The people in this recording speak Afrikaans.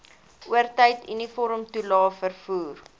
oortyd uniformtoelae vervoer